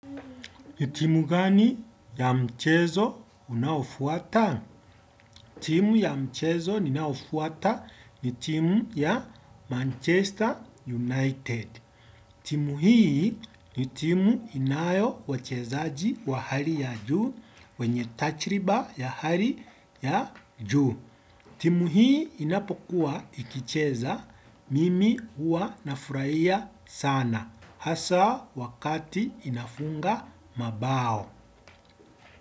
Ni timu gani ya mchezo unaofuata? Timu ya mchezo ninaofuata ni timu ya Manchester United. Timu hii ni timu inayo wachezaji wa hali ya juu wenye tajriba ya hali ya juu. Timu hii inapokuwa ikicheza mimi huwa nafurahia sana. Hasa wakati inafunga mabao.